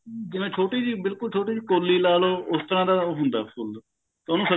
ਜਿਵੇਂ ਛੋਟੀ ਜੀ ਬਿਲਕੁਲ ਛੋਟੀ ਜੀ ਕੋਲੀ ਲਗਾ ਲੋ ਉਸ ਤਰਾਂ ਦਾ ਹੁੰਦਾ ਫੁੱਲ